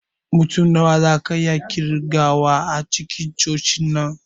Mutum nawa zaka iya ƙirgawa a cikin cocin nan?